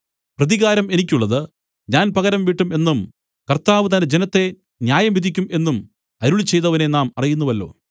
പ്രതികാരം എനിക്കുള്ളത് ഞാൻ പകരംവീട്ടും എന്നും കർത്താവ് തന്റെ ജനത്തെ ന്യായംവിധിക്കും എന്നും അരുളിച്ചെയ്തവനെ നാം അറിയുന്നുവല്ലോ